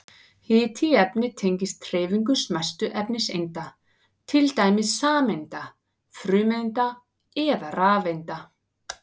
Hiti í efni tengist hreyfingu smæstu efniseinda, til dæmis sameinda, frumeinda eða rafeinda.